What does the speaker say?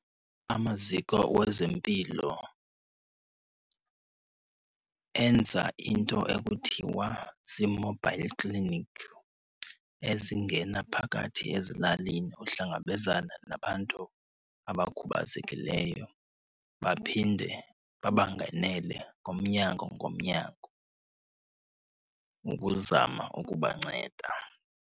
Amaziko wezempilo enza into ekuthiwa zi-mobile clinic ezingena phakathi ezilalini ukuhlangabezana nabantu abakhubazekileyo. Baphinde babangenele ngomnyango ngomnyango ukuzama ukubanceda.